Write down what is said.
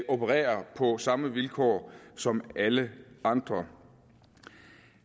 opererer på samme vilkår som alle andre